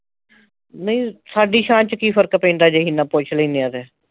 ਨਹੀ ਸਾਡੀ ਸ਼ਾਨ ਵਿਚ ਕੀ ਫਰਕ ਪੈਂਦਾ ਜੇ ਅਹੀ ਇੰਨਾ ਪੁੱਛ ਲੈਣੇ ਆ ਤੇ